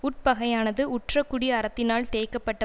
உட்பகையானது உற்ற குடி அரத்தினால் தேய்க்கப்பட்ட